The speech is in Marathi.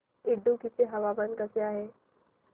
इडुक्की चे हवामान कसे आहे